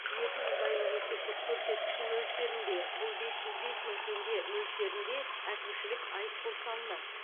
екі жүз айлық есептік көрсеткіші мөлшерінде бұл бес жүз бес мың теңге мөлшерінде әкімшілік айыппұл салынады